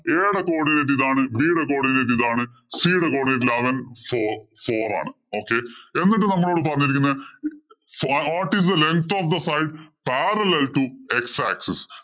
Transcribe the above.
A യുടെ codinate ഇതാണ്. B യുടെ codinate ഇതാണ്. C യുടെ codinate അവന് four four ആണ്. Okay എന്നിട്ട് നമ്മളോട് പറഞ്ഞിരിക്കുന്നത് എന്നിട്ട് നമ്മളോട് പറഞ്ഞിരിക്കുന്നത് What is the length of the five parallel to x axis